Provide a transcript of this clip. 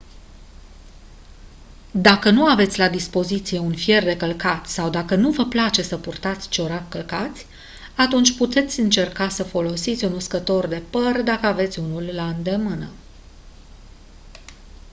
dacă nu aveți la dispoziție un fier de călcat sau dacă nu vă place să purtați ciorapi călcați atunci puteți încerca să folosiți un uscător de păr dacă aveți unul la îndemână